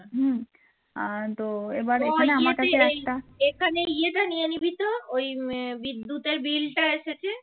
ওই বিদ্যুতের বিলটা এসেছে